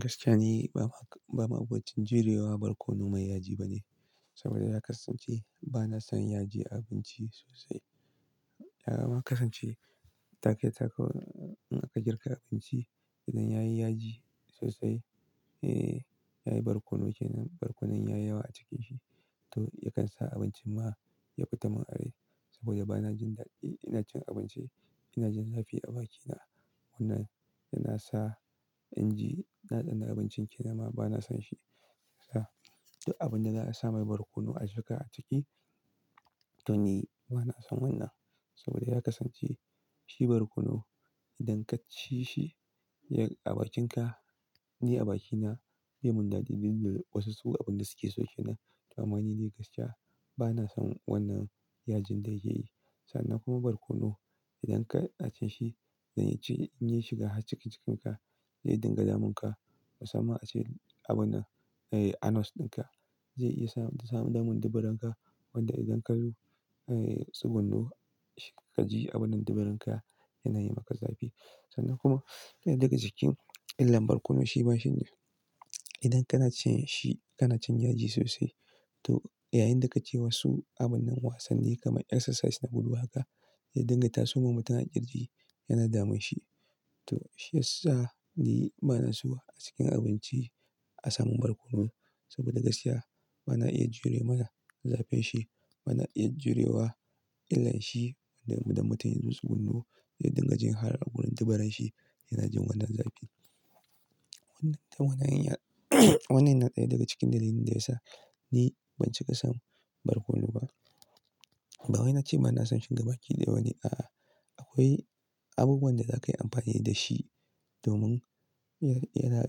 Gaskiya ne, ba abincin jurewa barkono mai yaji ba ne. Saboda na kasance ba na son yaji a abinci sosai. Ya ma kasance ta kai ta in aka girka abinci idan ya yi yaji sosai, eh ya yi barkono kenan, barkonon ya yi yawa a cikinsa, to yakan sa abincin ma ya fita min arai. Saboda ba na jin daɗi ina cin abinci, ina jin zafi a bakina. Wannan yana sa in ji na tsane abincin kenan ma ba na son shi. To, abin da za a sa mai barkono a cika a ciki, to ni ba na son wannan. Saboda ya kasance shi barkono idan ka ci shi ya yi a bakinka, ni a bakina baya mun daɗi duk wasu abin da suke so kenan. To amma ni dai gaskiya ba na son wannan yajin da yake yi. Sannan kuma barkono idan ka ci shi zai ci in yi shiga har cikin cikinka, zai dinga damunka. Musamman ma ace abun a, anus ɗinka zai iya sa ta samu damun dubaranka. Wanda idan ka zo, ai tsugunno ka ji abun nan dubaranka yana yi maka zafi. Sannan kuma daya daga cikin illar barkono shi ba shi ne idan kana cin shi kana cin yaji sosai. To yayin da ka ci wasu abun nan wasanni kamar exercise na gudu haka zai dinga taso ma mutum a kirji, yana damun shi. To shi yasa ni ba na so a cikin abinci a samu barkono. Saboda gaskiya ba na iya jure ma zafin shi, ba na iya jurewa illar shi wanda idan mutum ya zo su gundo zai dinga jin har a wurin dibaranshi yana jin wannan zafi. Wannan dabanin wannan yana daya daga cikin dalilin da ya sa ni ban cika son barkono ba. Ba wai na ce ba na son shiga baki da wani, a'a. Akwai abubuwan da za ka yi amfani da shi domin yana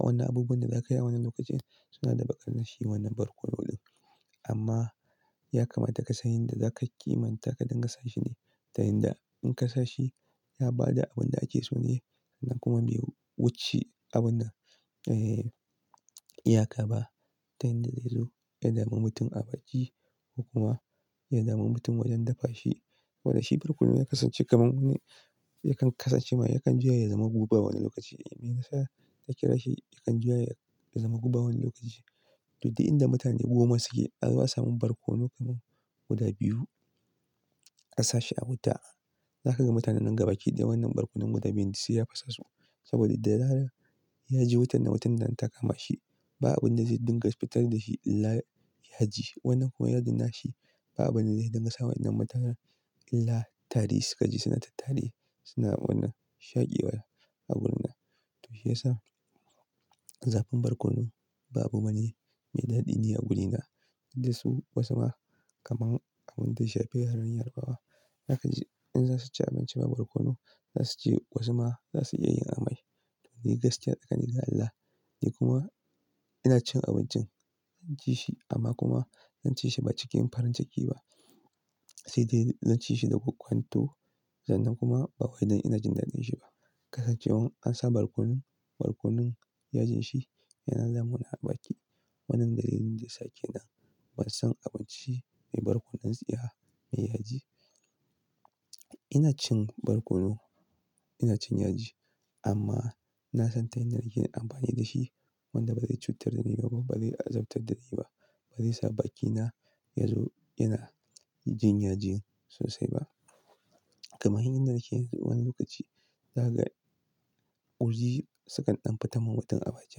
wannan abubuwan da za ka yi a wannan lokacin suna da buƙatar nashi wannan barkono ɗin. Amma ya kamata ka san yadda za ka kimanta ka dinga sa shi ne. Ta yanda in ka sa shi ya ba da abin da ake so ne sannan kuma bai wuce abun nan, eh iya ka ba. Ta yanda zai zo ya dami mutum a baki ko kuma ya dami mutum wajen dafa shi. Wanda shi barkono ya kasance kamar wani yakan kasance ma yakan juya ya zama guba wani lokaci. Me yasa na kira shi yakan juya ya zama guba wani lokaci? To dai inda da mutane goma suke azo a samu barkono kamar guda biyu ka sa shi a wuta, za ka ga mutanen nan gaba ki da wannan barkonon guda biyun da sai ya fasa su. Saboda da zarar ya ji wutar na watan nan ta kama shi ba abin da zai dinga fitar da shi illa yaji. Wannan kuma yajin nashi ba abin da zai dinga sa wa wannan mutanen illa tari suka ji suna tattari suna wannan shaƙewar a wurin nan. To shi yasa zafin barkono ba abu bane mai daɗi ni a wurina. Inda su wasu ma kamar abun da ya shafe har ahalin yarba wa. Zaka ji in za su ci abinci babu barkono za su je wasu ma za su iya yin amai. To ni gaskiya tsakani har ga Allah, ni kuma ina cin abincin zan ci shi amma kuma zan ci shi ba cikin farin ciki ba. Sai dai zan ci shi daga kokwanto sannan kuma ba wai don ina jin daɗin shi ba. Kasancewan an sa barkonon, barkonon yajin shi yana damuna a baki. Wannan dalilin da ya sake nan ban son abinci mai barkono tsiya, mai yaji. Ina cin barkono, ina cin yaji amma na san ta yanda nake yin amfani da shi wanda ba zai cutar da ni ba kuma ba zai azabtar da ni ba. Ba zai sa bakina yazo yana jin yaji sosai ba. Kamar yan da nake wani lokaci, za ka ji ƙurji sukan ɗan fita ma mutum a baki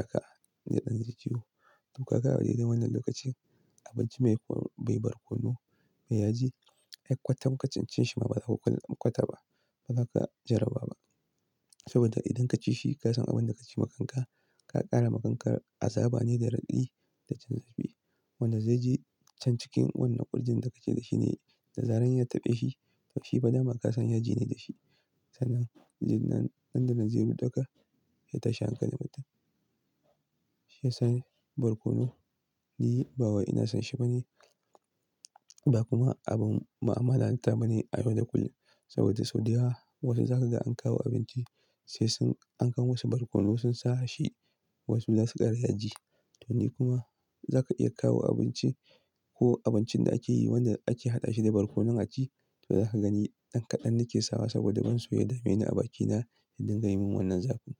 haka inda ɗan jirji yaro. To ka ga a dai da wannan lokacin abinci mai ko bai barkono mai yaji har kwatan ka cin shi ma ba za ka kwata ba, ba za ka jara ba ba. Saboda idan ka ci shi ka san abin da ka ci ma kanka, ka ƙara ma kanka azaba ne da raɗaɗi da cin zafi. Wanda zai je can cikin wannan ƙurjin da kake da shi ne, da zarar ya taɓe shi to shi fa dama ka san yaji ne da shi. Sannan jin nan dandanan zai ruɗaka ya tashi hankalim mutum. Shi yasa barkono ni ba wai ina son shi ba ne ba kuma abun mu'amala ta ba ne a yau da kullum. Saboda sau da yawa wasu za ka ga an kawo abinci sai sun an kawo masu barkono sun sa shi wasu za su ƙara yaji. To ni kuma za ka iya kawo abinci ko abincin da ake yi wanda ake haɗa shi da barkono a ci, to za ka gani ɗan kaɗan nake sawa saboda ban so ya dame ni a bakina ya dinga yi mun wannan zafi.